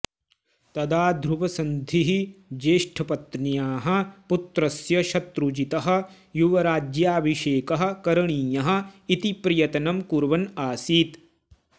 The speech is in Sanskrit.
तदा ध्रुवसन्धिः ज्येष्ठपत्न्याः पुत्रस्य शत्रुजितः युवराज्याभिषेकः करणीयः इति प्रयत्नं कुर्वन् आसीत्